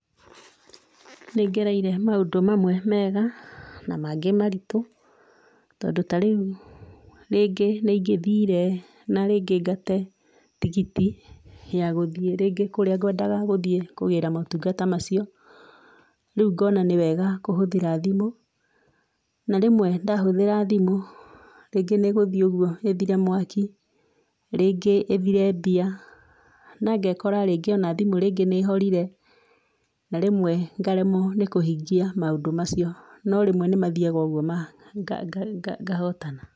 Nĩngereire maũndũ mamwe mega na mangĩ maritũ, tondũ ta rĩu rĩngĩ nĩ ingĩthire na rĩngĩ ngate tigiti ya gũthie rĩngĩ kũrĩa ngwendaga gũthie kũgĩra motungata macio, rĩu ngona nĩwega kũhũthĩra thimũ, na rĩmwe ndahũthĩra thimũ rĩngĩ nĩngũthie ũguo ĩthire mwaki, ringĩ ĩthire mbia, nangekora ona thimũ rĩngĩ nĩ ĩhorire, na rĩmwe ngaremwo nĩ kũhingia maũndũ macio no rĩmwe nĩ gũthiaga ũguo ngahotana.